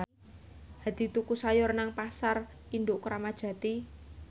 Hadi tuku sayur nang Pasar Induk Kramat Jati